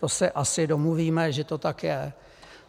To se asi domluvíme, že to tak je.